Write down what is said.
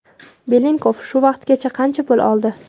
Belenkov shu paytgacha qancha pul oldi?